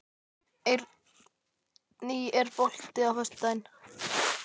Eirný, er bolti á föstudaginn?